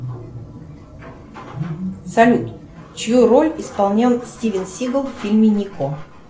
салют чью роль исполнял стивен сигал в фильме нико